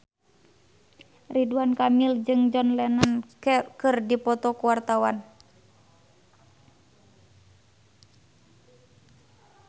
Ridwan Kamil jeung John Lennon keur dipoto ku wartawan